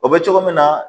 O bɛ cogo min na